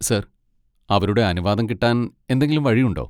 Sir, അവരുടെ അനുവാദം കിട്ടാൻ എന്തെങ്കിലും വഴിയുണ്ടോ?